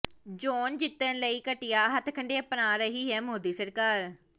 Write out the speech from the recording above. ਚੋਣ ਜਿੱਤਣ ਲਈ ਘਟੀਆ ਹੱਥਕੰਡੇ ਅਪਣਾ ਰਹੀ ਹੈ ਮੋਦੀ ਸਰਕਾਰ